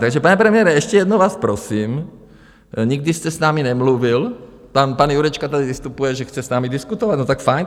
Takže pane premiére, ještě jednou vás prosím, nikdy jste s námi nemluvil, pan Jurečka tady vystupuje, že chce s námi diskutovat - no tak fajn.